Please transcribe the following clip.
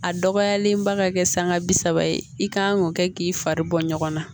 A dɔgɔyalenba ka kɛ sanga bi saba ye i kan k'o kɛ k'i fari bɔ ɲɔgɔn na